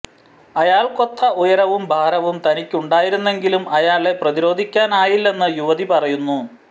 അയാള്ക്കൊത്ത ഉയരവും ഭാരവും തനിക്കുണ്ടായിരുന്നെങ്കിലും അയാളെ പ്രതിരോധിക്കാനായില്ലെന്ന് യുവതി പറയുന്നു